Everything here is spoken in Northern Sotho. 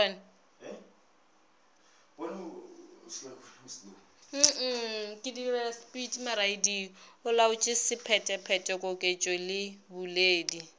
olaotše sephetephete koketšo le boledi